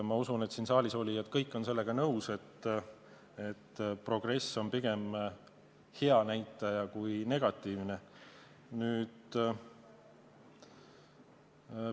Ma usun, et siin saalis olijad kõik on sellega nõus, et progress on pigem hea kui negatiivne näitaja.